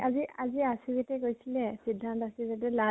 আজি আজি আচিজীতে কৈছিলে সিধান্ত আছিল য্দিও লাজ মনে